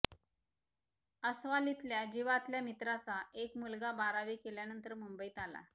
आस्वलीतल्या जिवातल्या मित्राचा एक मुलगा बारावी केल्यानंतर मुंबईत आला